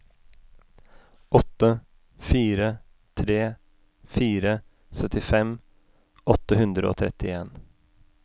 åtte fire tre fire syttifem åtte hundre og trettien